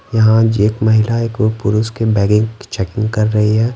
यहां एक महिला एक पुरुष के बैगिंग की चेकिंग कर रही है।